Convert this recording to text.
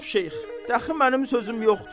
Cənab Şeyx, dəxi mənim sözüm yoxdur.